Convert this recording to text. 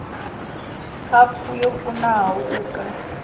khaphu yo kunaho u ka